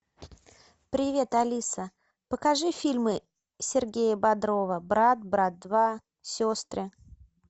привет алиса покажи фильмы сергея бодрова брат брат два сестры